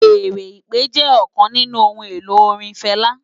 Fèèrè ìpè jè òkán ninù óhùn-éló órin Fela